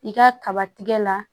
I ka kaba tigɛ la